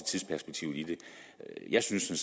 tidsperspektivet i det jeg synes